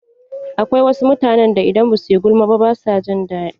Akwai wasu mutanen da idan ba su yi gulma ba ba su jin daɗi.